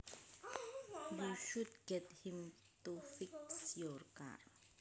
You should get him to fix your car